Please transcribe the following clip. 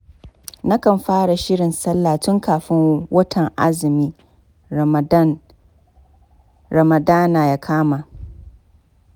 Nakan fara shirin sallah tun kafin watan azumin Ramadana ya kama.